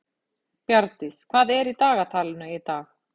Bjarndís, hvað er í dagatalinu í dag?